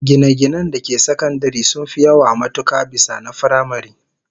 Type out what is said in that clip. Gine-ginen da ke sakandare sun fi yawa matuka bisa na firamare